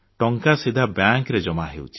ଟଙ୍କା ସିଧା ବ୍ୟାଙ୍କରେ ଜମା ହେଉଛି